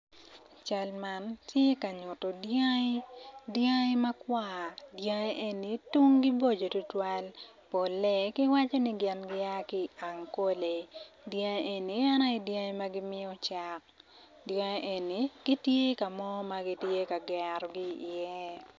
Cal man tye ka nyuto dyangi dyangi makwar dyangi eni tungi boco tutwal polle gin giwco ni gia ki ankole dyngi eni en aye dyangi ma gimiyo cak dyngi eni gitye ka mo ma gitye ka gerogo iye.